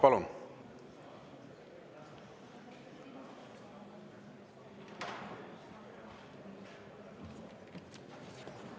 Palun!